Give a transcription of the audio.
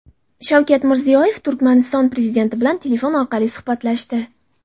Shavkat Mirziyoyev Turkmaniston prezidenti bilan telefon orqali suhbatlashdi .